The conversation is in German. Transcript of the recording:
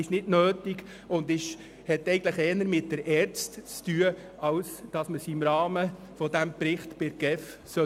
Sie ist nicht nötig und gehörte eigentlich eher in die ERZ als im Zusammenhang mit diesem Bericht in die GEF.